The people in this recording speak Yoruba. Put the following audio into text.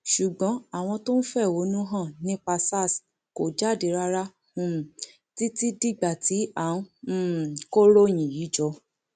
ṣùgbọn àwọn tó ń fẹhónú hàn nípa sars kò jáde rárá um títí dìgbà tí à ń um kọròyìn yìí jọ